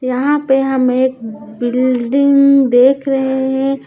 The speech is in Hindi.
यहाँ पे हम एक बि ल् डिंग देख रहे हैं।